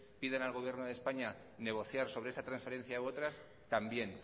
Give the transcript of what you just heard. pidan al gobierno de españa negociar sobre esta transferencia u otra también